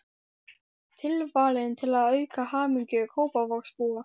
Tilvalinn til að auka hamingju Kópavogsbúa.